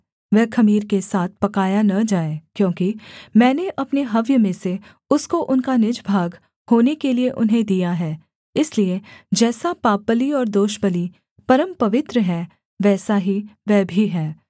वह ख़मीर के साथ पकाया न जाए क्योंकि मैंने अपने हव्य में से उसको उनका निज भाग होने के लिये उन्हें दिया है इसलिए जैसा पापबलि और दोषबलि परमपवित्र हैं वैसा ही वह भी है